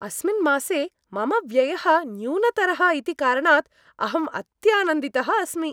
अस्मिन् मासे, मम व्ययः न्यूनतरः इति कारणात् अहम् अत्यानन्दितः अस्मि।